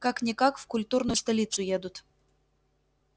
как-никак в культурную столицу едут